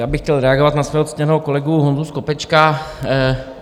Já bych chtěl reagovat na svého ctěného kolegu Honzu Skopečka.